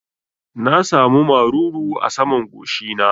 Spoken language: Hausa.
Na sa mu maruru a saman goshi na